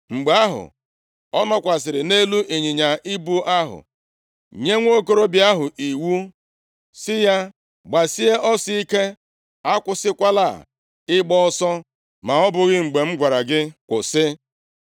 Mgbe ahụ, ọ nọkwasịrị nʼelu ịnyịnya ibu ahụ, nye nwokorobịa ahụ iwu sị ya, “Gbasie ọsọ ike. Akwụsịkwala ịgba ọsọ ma ọ bụghị mgbe m gwara gị kwụsị.”